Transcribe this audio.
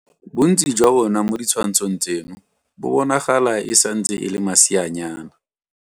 Bontsi jwa bona mo ditshwantshong tseno bo bonagala e santse e le maseanyana.